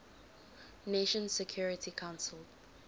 nations security council